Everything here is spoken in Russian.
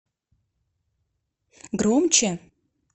громче